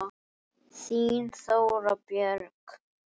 Þín, Þóra Björg.